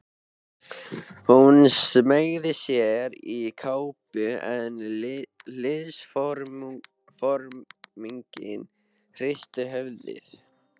Hún smeygði sér í kápu en liðsforinginn hristi höfuðið.